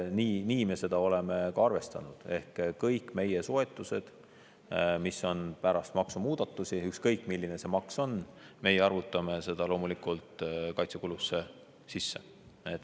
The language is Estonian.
Nii me seda oleme ka arvestanud ehk kõik meie soetused, mis on pärast maksumuudatusi, ükskõik, milline see maks on, me arvutame loomulikult kaitsekuludesse sisse.